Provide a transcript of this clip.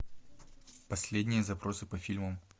последние запросы по фильмам